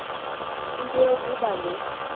into yokuba le